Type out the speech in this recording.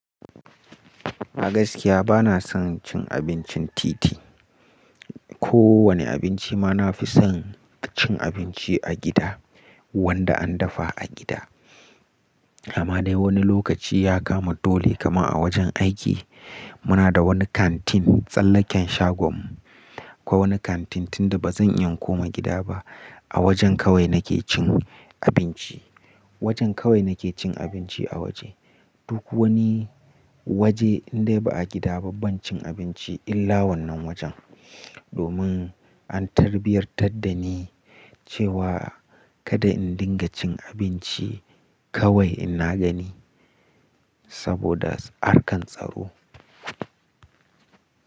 A gaskiya bana son cin abincin titi. Ko wane abinci ma na fi son cin abincin a gida wanda an dafa a gida amma dai wani lokaci ya kama dole kamar a wajen aiki. Muna da wani kantin tsallaken shagon mu, ko wani kantin tunda ba zan iya koma gida ba. A wajen kawai nake cin abinci. Wajen kawai nake cin abinci a waje. Duk wani waje in dai ba a gida ba ban cin abinci illa wannan wajen. Domin an tarbiyantar da ni cewa kada in dinga cin abinci kawai in na gani saboda harkan tsaro.